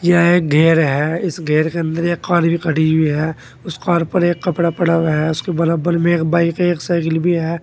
यह एक घर है इस घर के अंदर एक कार भी खड़ी हुई है उस कार पे एक कपड़ा पड़ा हुआ है उसके बराबर में एक बाइक एक साइकिल भी है।